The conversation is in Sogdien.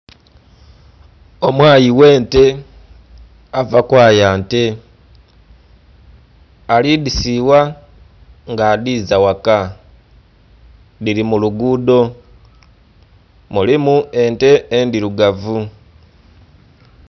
Omwayi ghe'nte ava kwaya nte ali dhi siigha nga adhiza ghaka, dhili mu lugudho Mulimu ente endhirugavu.